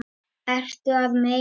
Ertu að meina.?